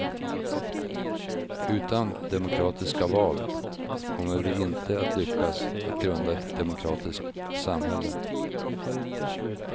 Utan demokratiska val kommer vi inte att lyckas att grunda ett demokratiskt samhälle.